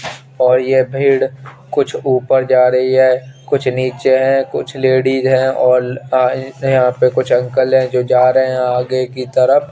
और ये भेड़ कुछ ऊपर जा रही है कुछ नीचे है कुछ लेडीज है और अ कुछ अंकल है जो जा रहे है आगे की तरफ --